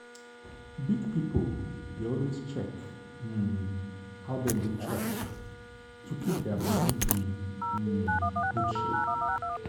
big people dey always check um how dem dey chop to keep their body in um good shape.